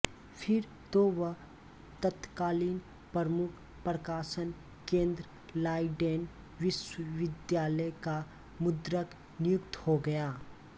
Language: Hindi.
फिर तो वह तत्कालीन प्रमुख प्रकाशन केंद्र लाइडेन विश्वविद्यालय का मुद्रक नियुक्त हो गया